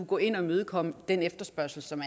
gå ind og imødekomme den efterspørgsel som